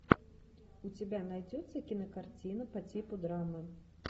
у тебя найдется кинокартина по типу драмы